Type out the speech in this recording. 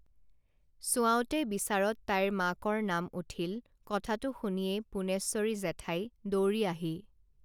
চোৱাওতে বিচাৰত তাইৰ মাকৰ নাম উঠিল কথাতো শুনিয়ে পুনেশ্বৰী জেঠাই দৌৰি আহি